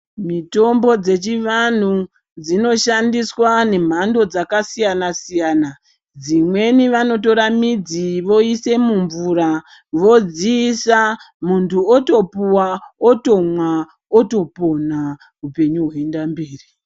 Mitombo dzechivantu dzinoshandiswa nemhando dzakasiyana siyana , dzimweni vanotora midzi voise mumvura vodziisa muntu otopuwa otomwa otopona upenyu hwoenda mberi